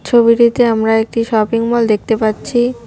ছবিটিতে আমরা একটি শপিং মল দেখতে পাচ্ছি।